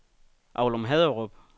Aulum-Haderup